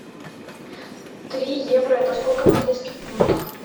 три евро это сколько в английских фунтах